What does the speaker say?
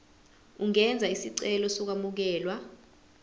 ungenza isicelo sokwamukelwa